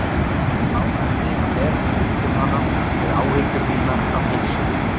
Ég áræddi að bera mig upp við hana með áhyggjur mínar af heilsunni.